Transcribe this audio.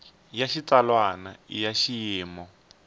ya xitsalwana i ya xiyimo